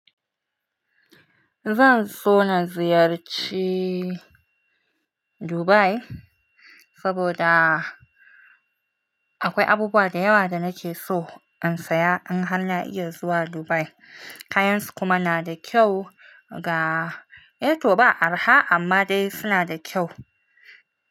Zan so na ziyarci Dubai saboda akwai abubuwa da yawa da nake so in saya in har na iya zuwa Dubai. Kayansu kuma na da kyau ga, eh to ba arha amma dai suna da kyau.